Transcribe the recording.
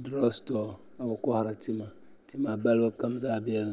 Dirɔg sitɔr ka bi kɔhiri la tima tima balibu kam zaa bi din